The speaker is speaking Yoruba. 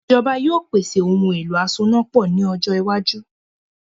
Ìjọba yóò pèsè “ ohun-èlo asonápọ̀” ní ọjọ iwájú